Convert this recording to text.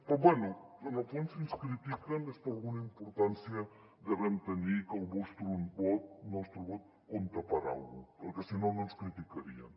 però bé en el fons si ens critiquen és perquè alguna importància devem tenir i que el nostre vot compta per a alguna cosa perquè si no no ens criticarien